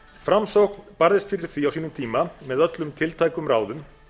framsókn barðist fyrir því á sínum tíma með öllum tiltækum ráðum